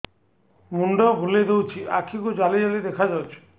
ମୁଣ୍ଡ ବୁଲେଇ ଦେଉଛି ଆଖି କୁ ଜାଲି ଜାଲି ଦେଖା ଯାଉଛି